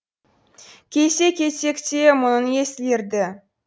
келсе кетсек те мұңын еселер ді